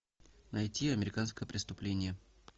найти американское преступление